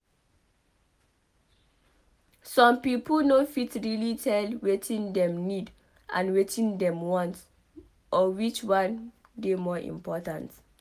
some pipo no fit really tell wetin dem need and wetin dem want or which one dey more important